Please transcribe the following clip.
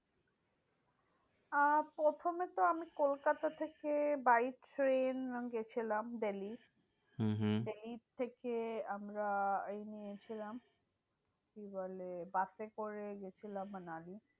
আহ প্রথমে তো আমি কলকাতা থেকে by ট্রেন গেছিলাম দিল্লী। হম হম দিল্লী থেকে আমরা নিয়েছিলাম, কি বলে? বাসে করে গেছিলাম মানালি।